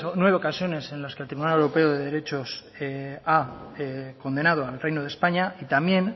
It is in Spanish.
nueve ocasiones en las que el tribunal europeo de derechos ha condenado al reino de españa y también